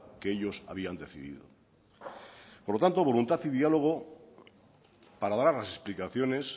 que ellos habían decidido por lo tanto voluntad y diálogo para dar las explicaciones